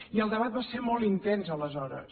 i el debat va ser molt intens aleshores